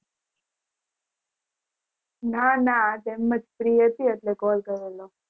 ના ના આજે એમ free હતી અટલે call કરેલો